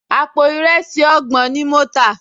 Àpò ìrẹsì ọgbọ̀n ni mo tà